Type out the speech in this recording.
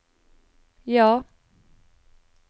ja